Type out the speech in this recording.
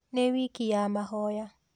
Nĩ wiki ya mahoya